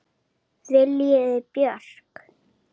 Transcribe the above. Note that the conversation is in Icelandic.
Viljiði Björk?